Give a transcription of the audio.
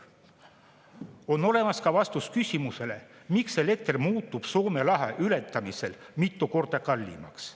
On olemas ka vastus küsimusele, miks elekter muutub Soome lahe ületamisel mitu korda kallimaks.